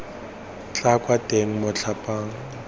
tla kwa teng motlhang pula